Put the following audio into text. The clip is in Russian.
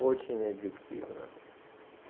очень объективно